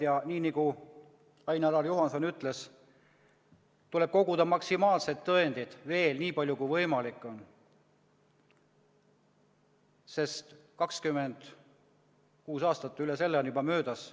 Ja nii nagu Ain-Alar Juhanson ütles, tuleb koguda veel maksimaalselt tõendeid, nii palju kui võimalik on, sest 26 aastat ja üle selle on juba möödas.